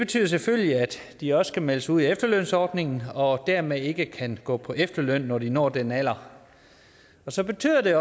betyder selvfølgelig at de også skal melde sig ud af efterlønsordningen og dermed ikke kan gå på efterløn når de når den alder så betyder det